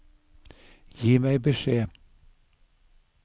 Gi meg beskjed